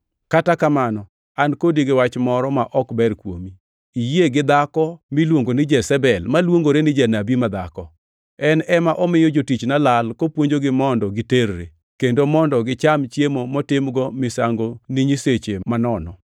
Kata kamano, an kodi gi wach moro ma ok ber kuomi; iyie gi dhako miluongo ni Jezebel maluongore ni janabi madhako. En ema omiyo jotichna lal kopuonjogi mondo giterre, kendo mondo gicham chiemo motimgo misango ni nyiseche manono.